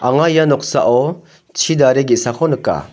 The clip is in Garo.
anga ia noksao chi dare ge·sako nika.